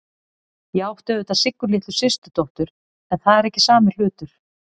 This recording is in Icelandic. Ég átti auðvitað Siggu litlu systurdóttur, en það er ekki sami hlutur.